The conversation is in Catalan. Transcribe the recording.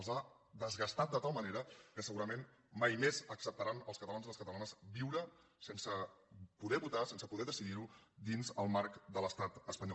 els ha desgastat de tal manera que segurament mai més acceptaran els catalans i les catalanes viure sense poder votar sense poder decidir dins el marc de l’estat espanyol